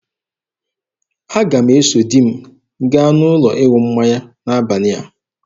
Aga m eso di m gaa n'ụlọ ịṅụ mmanya n'abalị a.